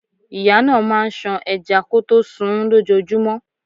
Ìyá náà máà ń ṣan ẹja kọtó sunún lójojúmọ́.